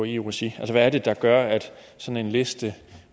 i eu regi hvad er det der gør at sådan en liste